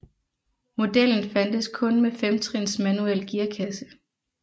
Modellen fandtes kun med femtrins manuel gearkasse